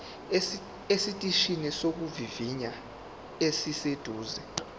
esiteshini sokuvivinya esiseduze